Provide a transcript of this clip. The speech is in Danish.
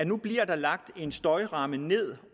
nu bliver lagt en støjgrænse ned